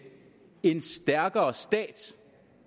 en stærkere stat